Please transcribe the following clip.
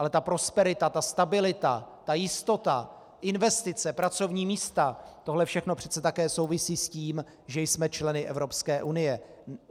Ale ta prosperita, ta stabilita, ta jistota, investice, pracovní místa, tohle všechno přece také souvisí s tím, že jsme členy Evropské unie.